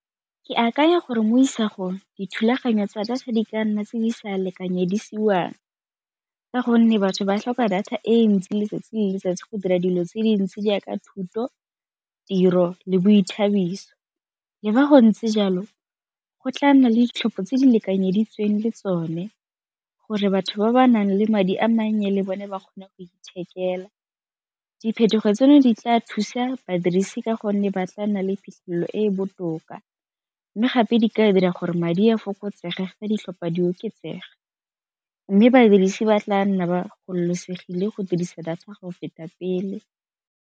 Ke akanya gore mo isagong dithulaganyo tsa data di ka nna tse di sa lekanyedisiwang ka gonne batho ba tlhoka data e ntsi letsatsi le letsatsi go dira dilo tse dintsi jaaka thuto, tiro le boithabiso. Le fa go ntse jalo go tla nna le ditlhopho tse di lekanyeditsweng le tsone gore batho ba ba nang le madi a mannye le bone ba kgone go ithekela diphetogo tseno di tla thusa badirisi ka gonne ba tla nna le phitlhelelo e e botoka, mme gape di ka dira gore madi a fokotsega ditlhopha di oketsega, mme badirisi ba tla nna ba gololosegile go dirisa data ga go feta pele.